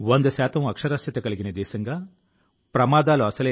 ప్రతి ఒక్కరూ 90కి మించి సాధించలేరు